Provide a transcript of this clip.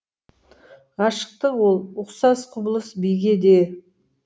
ғашықтық ол ұқсас құбылыс биге де